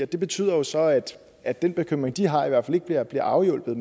det betyder jo så at den bekymring de har i hvert fald ikke bliver bliver afhjulpet